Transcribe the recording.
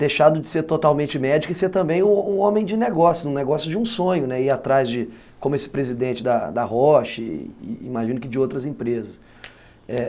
deixado de ser totalmente médico e ser também um um homem de negócios, um negócio de um sonho, né, ir atrás de, como esse presidente da da Roche, imagino que de outras empresas, é